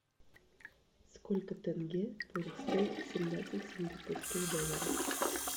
сколько тенге будет стоить семнадцать сингапурских долларов